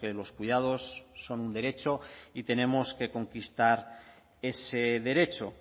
que los cuidados son un derecho y tenemos que conquistar ese derecho